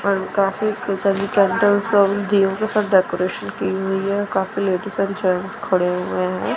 And काफी decoration की हुई है काफी लेडीज एंड जेंट्स खड़े हुए हैं।